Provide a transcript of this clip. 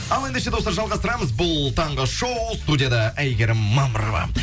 ал ендеше достар жалғастырамыз бұл таңғы шоу студияда әйгерім мамырова